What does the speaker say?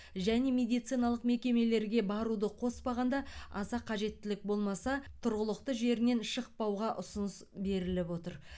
және медициналық мекемелерге баруды қоспағанда аса қажеттілік болмаса тұрғылықты жерінен шықпауға ұсыныс беріліп отыр